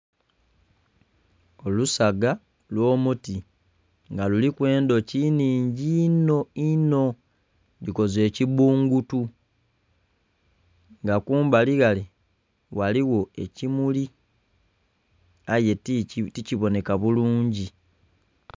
Olusaga lw'omuti nga luliku endhuki nnhingi inho inho, dhikoze ekibbungutu nga kumbali wale ghaligho ekimuli aye tikibonheka bulungi.